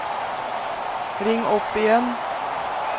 ring opp igjen